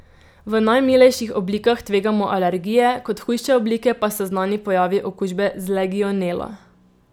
V najmilejših oblikah tvegamo alergije, kot hujše oblike pa so znani pojavi okužbe z legionelo.